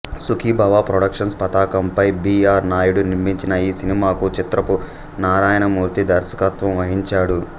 Sukhibhava productions పతాకంపై B R Naidu నిర్మించిన ఈ సినిమాకు చిత్రపు నారాయణమూర్తి దర్శకత్వం వహించాడు